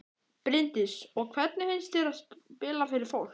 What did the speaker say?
Bryndís: Og hvernig finnst þér að spila fyrir fólk?